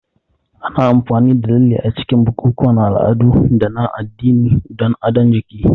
Ana amfani da lalle a cikin bukukuwan al'adu da na addini don adon jiki.